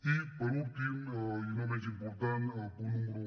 i per últim i no menys important el punt número